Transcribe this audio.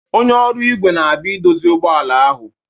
Onye ọrụ igwe na-abia idozi ụgbọ ala ahụ